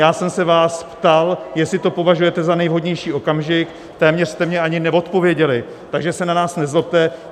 Já jsem se vás ptal, jestli to považujete za nejvhodnější okamžik, téměř jste mi ani neodpověděly, takže se na nás nezlobte.